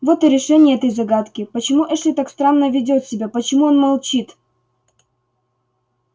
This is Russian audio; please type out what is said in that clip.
вот и решение этой загадки почему эшли так странно ведёт себя почему он молчит